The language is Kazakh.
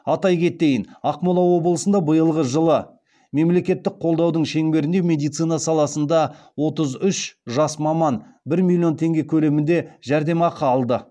атай кетейін ақмола облысында биылғы жылы мемлекеттік қолдаудың шеңберінде медицина саласында отыз үш жас маман бір миллион теңге көлемінде жәрдемақы алды